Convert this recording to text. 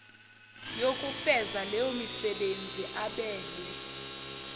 yokufeza leyomisebenzi abelwe